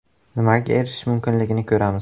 Nimaga erishish mumkinligini ko‘ramiz.